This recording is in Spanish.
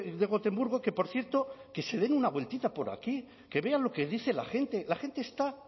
de gotemburgo que por cierto que se den una vueltita por aquí que vean lo que dice la gente la gente está